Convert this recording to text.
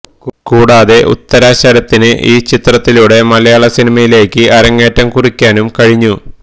കൂടാതെ ഉത്തര ശരത്തിന് ഈ ചിത്രത്തിലൂടെ മലയാളസിനിമയിലേക്ക് അരങ്ങേറ്റം കുറിക്കാനും കഴിഞ്ഞു